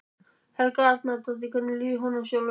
Helga Arnardóttir: Hvernig líður honum sjálfum?